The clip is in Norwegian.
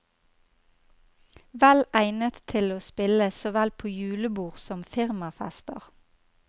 Vel egnet til å spille såvel på julebord som firmafester.